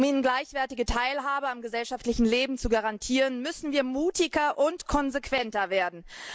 Um ihnen gleichwertige Teilhabe am gesellschaftlichen Leben zu garantieren, müssen wir mutiger und konsequenter werden.